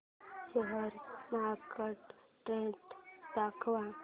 share market trend दाखव